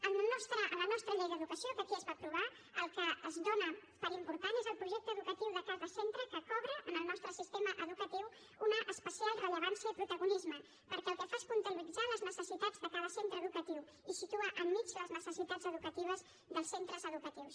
a la nostra llei d’educació que aquí es va aprovar el que es dóna per important és el projecte educatiu de cada centre que cobra en el nostre sistema educatiu una especial rellevància i protagonisme perquè el que fa es compatibilitzar les necessitats de cada centre educatiu i situar enmig les necessitats educatives dels centres educatius